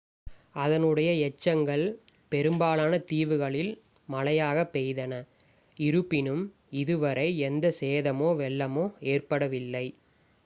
அதனுடைய எச்சங்கள் பெரும்பாலான தீவுகளில் மழையாக பெய்தன இருப்பினும் இதுவரை எந்த சேதமோ வெள்ளமோ ஏற்படவில்லை